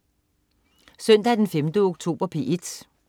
Søndag den 5. oktober - P1: